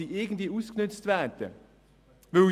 Die Mitarbeitenden dieser Branchen werden ausgenützt.